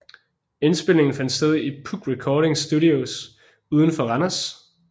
Indspilningerne fandt sted i Puk Recording Studios uden for Randers